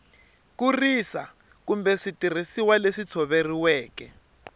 kurisa kumbe switirhisiwa leswi tshoveriweke